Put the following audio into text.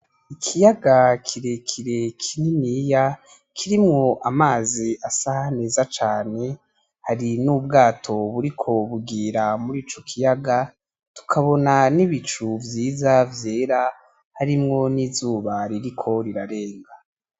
Ikiyaga kirekire kininiya kirimwo amazi asa neza cane hari n'ubwato buriko bugira murico kiyaga, tukabona n'ibicu vyiza vyera harimwo n'izuba ririko rirarenga.